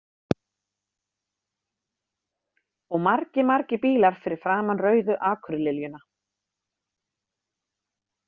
Og margir margir bílar fyrir framan Rauðu akurliljuna.